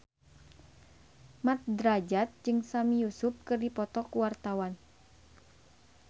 Mat Drajat jeung Sami Yusuf keur dipoto ku wartawan